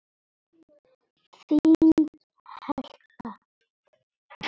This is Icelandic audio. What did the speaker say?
Þín Helga.